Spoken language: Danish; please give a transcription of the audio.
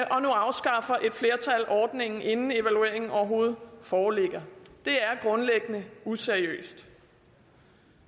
afskaffer et flertal ordningen inden evalueringen overhovedet foreligger det er grundlæggende useriøst